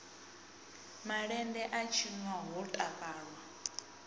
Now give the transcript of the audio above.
malende a tshinwa ho takalwa